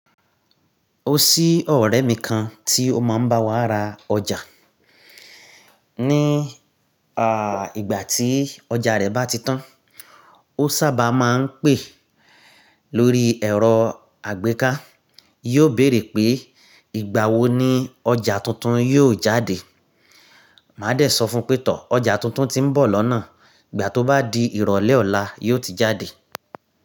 O sí ọ̀rẹ́ mi kan tí ó máa ń bá wa ra ọjà. Ní à ìgbà tí ọjà rẹ bá ti tán, ó sábà máa ń pè lórí ẹ̀rọ àgbéká. Yiò béèrè pé, "Ìgbà wo ni ọjà tuntun yió jáde?" Màá dẹ sọ fún pé, "Tò ọjà tuntun tí ń bọ̀ lọ́nà. Ìgbà tó bá di ìrọ̀lẹ́ ọ̀la, yiò ti jáde."